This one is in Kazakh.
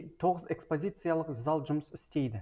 тоғыз экспозияциялық зал жұмыс істейді